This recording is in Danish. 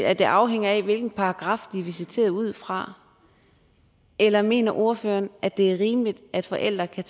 at det afhænger af hvilken paragraf de er visiteret ud fra eller mener ordføreren at det er rimeligt at forældre kan